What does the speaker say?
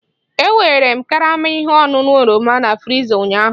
E nwere karama ihe ọṅụṅụ oroma na friza ụnyaahụ